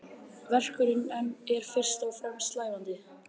Verkunin er fyrst og fremst slævandi.